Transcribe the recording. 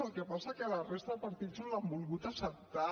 el que passa és que la resta de partits no les han volgut acceptar